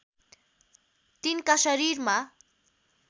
तिनका शरीरमा